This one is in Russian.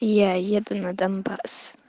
я еду на донбасс